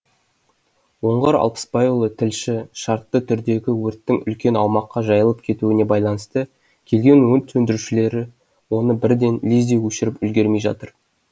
оңғар алпысбайұлы тілші шартты түрдегі өрттің үлкен аумаққа жайылып кетуіне байланысты келген өрт сөндірушілері оны бірден лезде өшіріп үлгермей жатыр